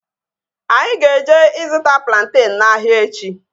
Anyị ga-eje ịzụta plantenu n'ahia echi